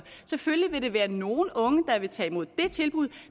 selvfølgelig vil det være nogle unge der vil tage imod det tilbud